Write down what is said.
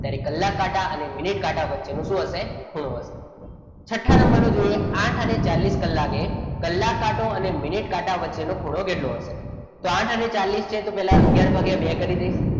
ત્યારે કલાક કાંટા અને મિનિટ કાંટા વચ્ચેનું શું હશે ખૂણો હશે. છઠ્ઠા નંબરનો જોઈએ આઠ અને ચાલીસ કલાકે કલાક કાંટો અને મિનિટ કાંટા વચ્ચેનો ખૂણો કેટલો હશે તો આઠ અને ચાલીસ છે તો પહેલા અગિયાર ભાગ્યા બે કરી દઈએ,